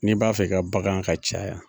N'i b'a fɛ i ka bagan ka caya